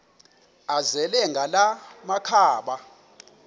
azele ngala makhaba